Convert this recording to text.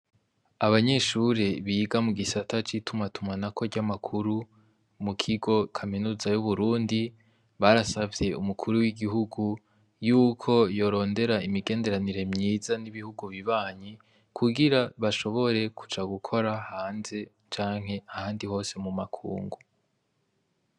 Abanyeshure biga mugisata c'itumatumanako ry'amakuru, mukigo kaminuza y'uburundi, barasavye Umukuru w'igihugu yuko yorondera imigenderanire myiza n'ibihugu bibanyi, kugira bashobore kuja gukora hanze canke ahandi hose mumakungu.